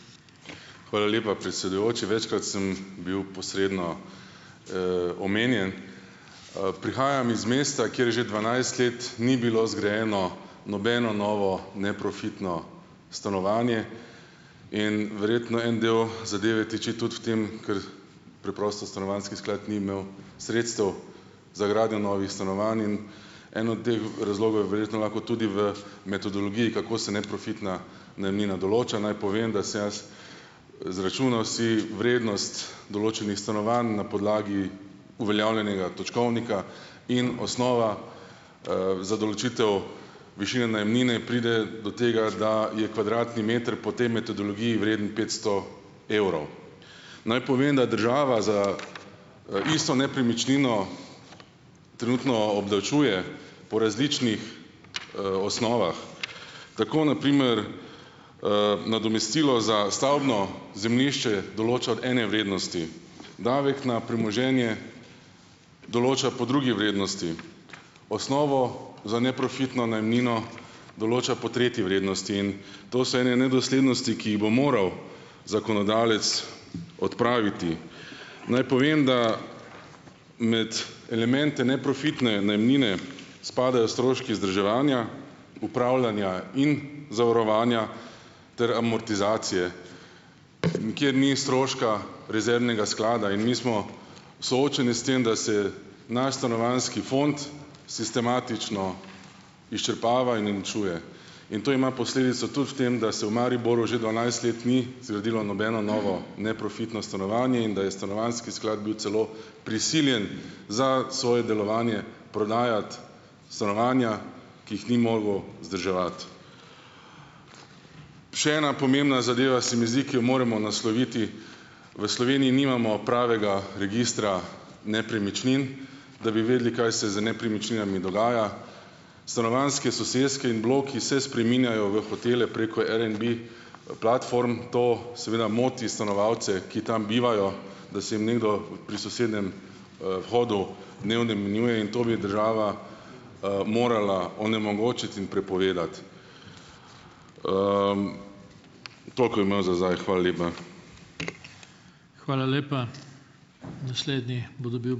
Hvala lepa, predsedujoči. Večkrat sem bil posredno, omenjen. prihajam iz mesta, kjer že dvanajst let ni bilo zgrajeno nobeno novo neprofitno stanovanje in verjetno en del zadeve tiči tudi v tem, ker preprosto stanovanjski sklad ni imel sredstev za gradnjo novih stanovanj in en od teh razlogov je verjetno enako tudi v metodologiji, kako se neprofitna najemnina določa. Naj povem, da se jaz zračunal si vrednost določenih stanovanj na podlagi uveljavljenega točkovnika in osnova, za določitev višine najemnine pride do tega, da je kvadratni meter po tej metodologiji vreden petsto evrov. Naj povem, da država za, isto nepremičnino trenutno obdavčuje po različnih, osnovah. Tako na primer, nadomestilo za stavbno zemljišče določa od ene vrednosti. Davek na premoženje določa po drugi vrednosti. Osnovo za neprofitno najemnino določa po tretji vrednosti. In to so ene nedoslednosti, ki jih bo moral zakonodajalec odpraviti. Naj povem, da med elemente neprofitne najemnine spadajo stroški vzdrževanja, upravljanja in zavarovanja ter amortizacije. Nikjer ni stroška rezervnega sklada in mi smo soočeni s tem, da se naš stanovanjski fond sistematično izčrpava in uničuje. In to ima posledico tudi v tem, da se v Mariboru že dvanajst let ni zgradilo nobeno novo neprofitno stanovanje in da je stanovanjski sklad bil celo prisiljen za svoje delovanje prodajati stanovanja, ki jih ni mogel vzdrževati. Še ena pomembna zadeva se mi zdi, ki jo moramo nasloviti. V Sloveniji nimamo pravega registra nepremičnin, da bi vedeli, kaj se z nepremičninami dogaja. Stanovanjske soseske in bloki se spreminjajo v hotele preko Airbnb platform. To seveda moti stanovalce, ki tam bivajo, da se jim nekdo pri sosednjem, vhodu dnevno menjuje in to bi država, morala onemogočiti in prepovedati. Toliko imam za zdaj, hvala lepa.